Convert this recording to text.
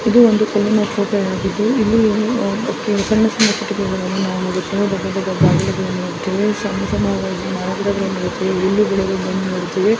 ಇದು ಒಂದು ಕಲ್ಲಿನ ಕೋಟೆಯಾಗಿದ್ದು ಇಲ್ಲಿ ಅಹ್ ಸಣ್ಣ ಸಣ್ಣ ಕಟ್ಟಿಗೆಗಳನ್ನು ನಾವು ನೋಡುತ್ತೇವೆ ದೊಡ್ಡ ದೊಡ್ಡ ಬಾಗಿಲುಗಳು ನೋಡುತ್ತೇವೆ. ಸಣ್ಣ ಸಣ್ಣ ಮರಗಿಡಗಳನ್ನು ನೋಡುತ್ತೇವೆ ಇಲ್ಲಿ ಬೆಳೆದಿರುವುದನ್ನು ನೋಡುತ್ತೇವೆ.